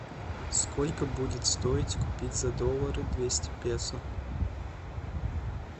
сколько будет стоить купить за доллары двести песо